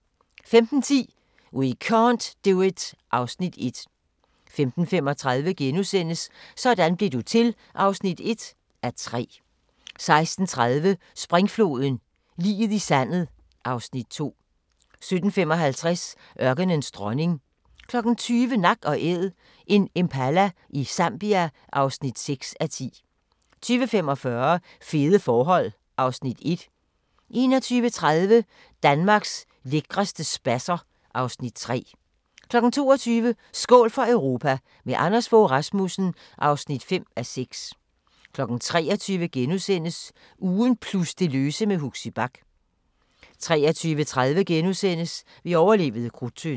15:10: We can't do it (Afs. 1) 15:35: Sådan blev du til (1:3)* 16:30: Springfloden – liget i sandet (Afs. 2) 17:55: Ørkenens dronning 20:00: Nak & Æd – en impala i Zambia (6:10) 20:45: Fede forhold (Afs. 1) 21:30: Danmarks lækreste spasser (Afs. 3) 22:00: Skål for Europa – med Anders Fogh Rasmussen (5:6) 23:00: Ugen plus det løse med Huxi Bach * 23:30: Vi overlevede Krudttønden *